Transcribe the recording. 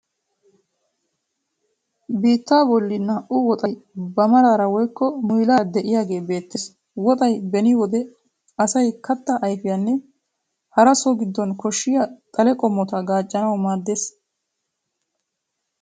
Biittaa bolli naa''u woxay ba maaraara woykko muyilaara de'iyage beettees. Woxay beni wode asay kattaa ayfiyanne hara so giddon koshshiya xale qommota gaaccanawu maaddees.